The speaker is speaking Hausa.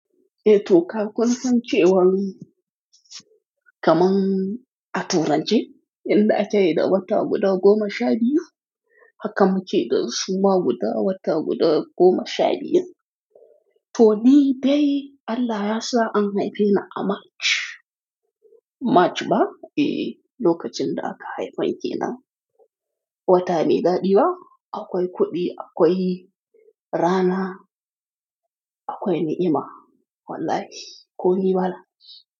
Eh to kun san cewan Kaman a turance, yanda ake da wata guda goma sha biyu, haka muke dasu ma wata guda goma sha biyun. To ni dai Allah yasa an haife ni a March, March ba? Eh, lokacin da aka haife ni kenan. Wata mai dadi ba? Akwai kuɗi, akwai rana, akwai ni'ima wallahi, ko ni ba na.